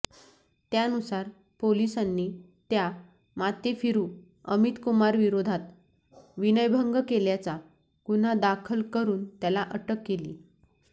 त्यानुसार पोलिसांनी त्या माथेफिरू अमितकुमारविरोधात विनयभंग केल्याचा गुन्हा दाखल करून त्याला अटक केली